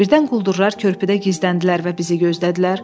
Birdən quldurlar körpüdə gizləndilər və bizi gözlədilər?